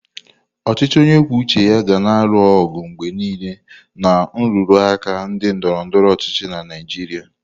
Ọchịchị onye kwuo uche ya ga na-alụ ọgụ mgbe niile na nrụrụ aka na ndọrọ ndọrọ ọchịchị na Naijiria.